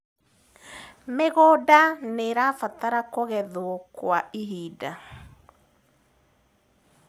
mĩgũnda nĩirabatara kugethwo kwa ihinda